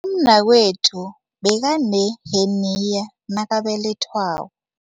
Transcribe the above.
Umnakwethu bekaneheniya nakabelethwako.